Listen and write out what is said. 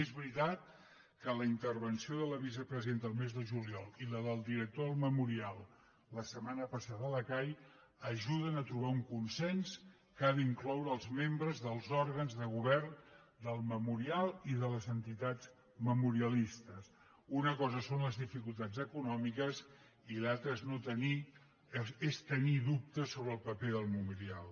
és veritat que la intervenció de la vicepresidenta el mes de juliol i la del director del memorial la setmana passada a la cai ajuden a trobar un consens que ha d’incloure els membres dels òrgans de govern del memorial i de les entitats memorialistes una cosa són les dificultats econòmiques i l’altra és tenir dubtes sobre el paper del memorial